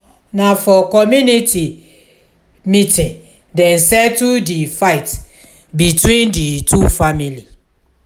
na for community meeting dem settle di fight between di two family.